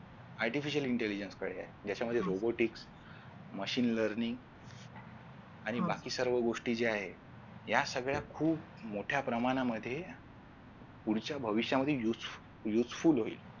Artificial intelligence ज्याच्यामध्ये robotics machine learning आणि बाकी सर्व गोष्टी ज्या आहेत या सगळ्या खूप मोठ्या प्रमाणामध्ये पुढच्या भविष्यामध्ये useful होईल